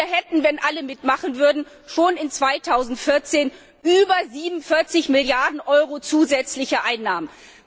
Wir hätten, wenn alle mitmachen würden, schon im Jahr 2014 über 47 Milliarden Euro zusätzliche Einnahmen.